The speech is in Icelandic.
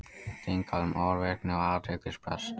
Þingað um ofvirkni og athyglisbrest